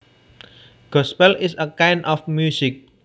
Gospel is a kind of music